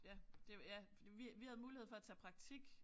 Ja det ja vi vi havde mulighed for at tage praktik